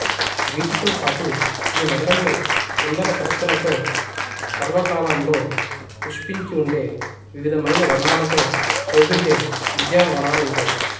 వీటితో పాటు ఈ నగరంలో సుందర సరస్సులతో సర్వకాలంలో పుష్పించి ఉండే వివిధమైన వర్ణాలతో శోభిల్లే ఉద్యానవనాలు ఉంటాయి